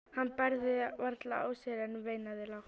Hann bærði varla á sér en veinaði lágt.